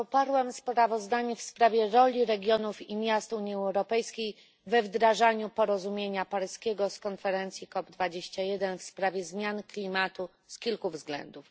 Poparłam sprawozdanie w sprawie roli regionów i miast Unii Europejskiej we wdrażaniu porozumienia paryskiego z konferencji COP21 w sprawie zmian klimatu z kilku względów.